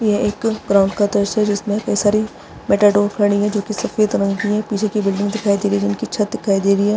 ये एक क्राउन का दृश्य है जिसमे कई सारी मेट डॉक खड़ी है जो की सफ़ेद रंग की है पीछे की बिल्डिंग दिखाई दे रही है जिसकी छत दिखाई दे रही है।